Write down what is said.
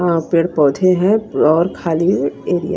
अ पेड़ पौधे हैं और खाली है एरिया --